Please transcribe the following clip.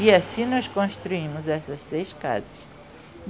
E assim nós construímos essas seis casas.